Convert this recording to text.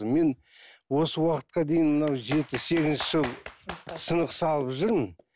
мен осы уақытқа дейін мынау жеті сегізінші жыл сынық салып жүрмін